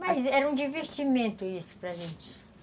Mas era um divertimento isso para gente.